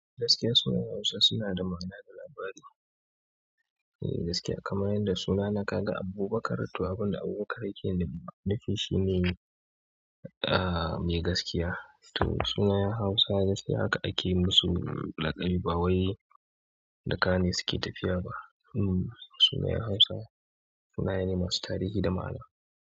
Gaskiya sunayen Hausa suna da ma'ana da labari. Eh gaskiya kamar yadda sunana ka ga Abubakar, to abin da Abubakar ya ke nufi shi ne, ah me gaskiya. To sunayen Hausa, haka ake musu, laƙabi ba wai da ka ne suke tafiya ba. Hmm sunayen Hausa, sunaye ne masu tarihi da ma'ana.